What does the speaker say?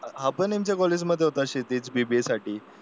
हा पण यांच्या कॉलेजमध्ये होता क्षिति BBA साठी